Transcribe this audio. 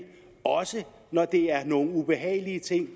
også når det er nogle ubehagelige ting